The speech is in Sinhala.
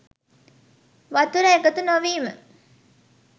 වතුර එකතු නොවීම